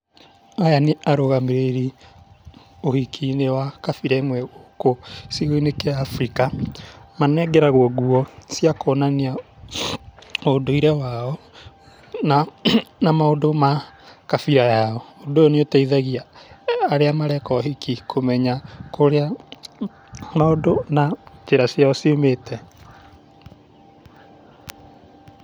Aya nĩ arũgamĩrĩri ũhiki-inĩ wa kabira ĩmwe gũkũ gĩcigo-inĩ kĩa Afrika, manengeragwo nguo cia kuonania ũndũire wao, na maũndũ ma kabira yao, ũndũ ũyũ nĩ ũteithagia arĩa mareka ũhiki kũmenya kũrĩa maũndũ na njĩra ciao ciumĩte.